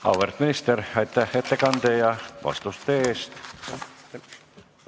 Auväärt minister, aitäh ettekande ja vastuste eest!